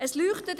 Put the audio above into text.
Es leuchtet;